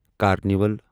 carnival